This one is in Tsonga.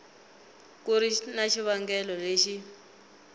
ku ri na xivangelo lexi